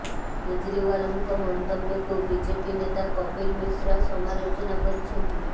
କେଜରିୱାଲଙ୍କ ମନ୍ତବ୍ୟକୁ ବିଜେପି ନେତା କପିଲ ମିଶ୍ରା ସମାଲୋଚନା କରିଛନ୍ତି